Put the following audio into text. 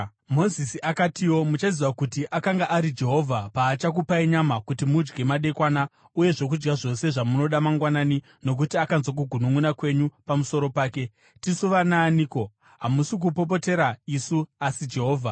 Mozisi akatiwo, “Muchaziva kuti akanga ari Jehovha paachakupai nyama kuti mudye madekwana uye zvokudya zvose zvamunoda mangwanani nokuti akanzwa kugununʼuna kwenyu pamusoro pake. Tisu vanaaniko? Hamusi kupopotera isu, asi Jehovha.”